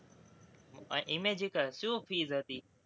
ઇમેજિકા, શું fees હતી?